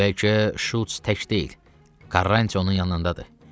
Bəlkə Şults tək deyil, Karranyonun yanındadır.